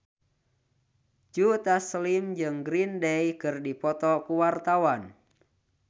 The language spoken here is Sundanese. Joe Taslim jeung Green Day keur dipoto ku wartawan